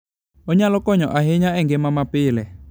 Onyalo konyo ahinya e ngima mapile.